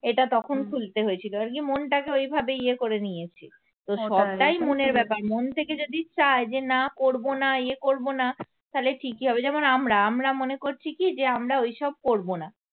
এটা তখন খুলতে হয়েছিল আর কি মনটাকে ওই ভাবেই ইয়ে করে নিয়েছি তো সবটাই মনের ব্যাপার মন থেকে যদি চায় যে না করবো না ইয়ে করবো না তালে ঠিকই হবে যেমন আমরা আমরা মনে করছি কি যে আমরা ঐসব করব না